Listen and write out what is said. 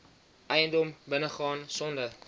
eiendom binnegaan sonder